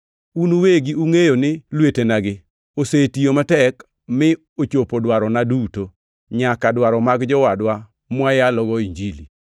Un uwegi ungʼeyo ni lwetenagi osetiyo matek mi ochopo dwarona duto, nyaka dwaro mag jowadwa mwayalogo Injili.